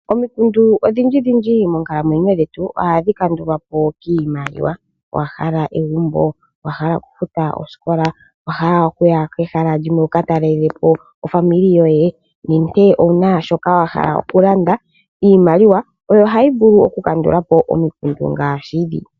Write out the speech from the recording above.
Omikundu odhindji monkalamwenyo dhetu ohadhi kandulwapo kiimaliwa. Owa hala egumbo, okufuta oosikola, okuya kehala limwe wuka talelapo aakwanezimo lyoye nenge owuna shoka wahala okulanda? Iimaliwa oyo hayi vulu okukandulapo omikundu ngaashi ndhi.